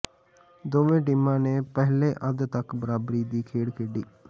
ਦੋਵੇਂ ਟੀਮਾਂ ਨੇ ਪਹਿਲੇ ਅੱਧ ਤਕ ਬਰਾਬਰੀ ਦੀ ਖੇਡ ਖੇਡੀ